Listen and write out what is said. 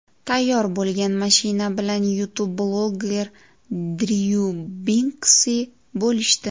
Tayyor bo‘lgan mashina bilan YouTube-bloger Dryu Binksi bo‘lishdi .